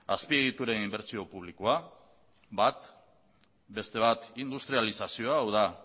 azpiegituren inbertsio publikoa bat beste bat industrializazioa hau da